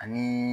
Ani